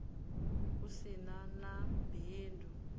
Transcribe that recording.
u si na na bindu